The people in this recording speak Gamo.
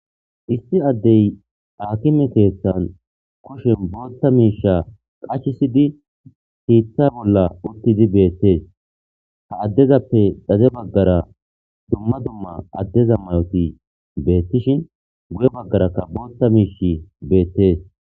isti addey akime keethan kushen bootta miisha qachisidi siitha bolla uttidi beettees ha addezappe dhaze baggara dumma dumma addeza mayoti beettishin guye baggarakka bootta miish beettees